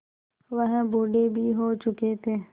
वह बूढ़े भी हो चुके थे